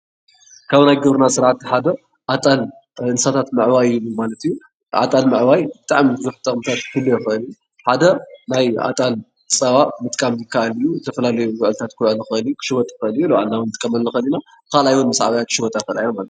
ካብ ናይ ግብርና ስርዓት ሓደ ኣጣል እንስሳታት ምዕባይ ማለት እዩ፡፡ ኣጣል ምዕባይ ብጣዕሚ ቡዝሕ ጥቅምታት ክህልዎ ይክእል እዩ። ሓደ ናይ ኣጣል ፃባ ምጥቃም ይካኣል እዩ፡፡ ዝተፈላለዩ ምግቢታት ምብላዕ ኽሽወጥ ይኽእል እዩ፡፡ ንባዕልና እዉን ክንጥቀመሉ ንክእል ኢና፣ ብካልኣይ እዉን ክሽወጣ ይክእላ እየን ማለት እዩ፡፡